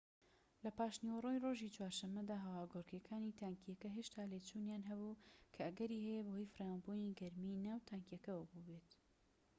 لە پاشنیوەڕۆی ڕۆژی چوارشەمەدا هەواگۆڕکێکانی تانکیەکە هێشتا لێچوونیان هەبوو کە ئەگەری هەیە بەهۆی فراوانبوونی گەرمیی ناو تانکیەکەوە بووبێت